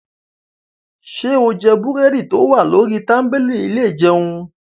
Ṣé o jẹ búrẹ́dì tó wà lórí tábìlì ilé ìjẹun?